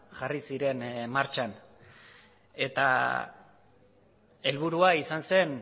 jarri ziren martxan eta helburua izan zen